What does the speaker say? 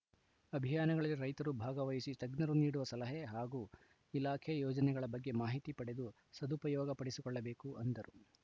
ಅಭಿಯಾನಗಳಲ್ಲಿ ರೈತರು ಭಾಗವಹಿಸಿ ತಜ್ಞರು ನೀಡುವ ಸಲಹೆ ಹಾಗೂ ಇಲಾಖೆ ಯೋಜನೆಗಳ ಬಗ್ಗೆ ಮಾಹಿತಿ ಪಡೆದು ಸದುಪಯೋಗ ಪಡಿಸಿಕೊಳ್ಳಬೇಕು ಎಂದರು